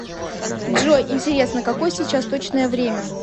джой интересно какое сейчас точное время